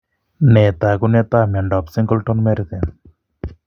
Nee taakunetaab myondap singleton merten?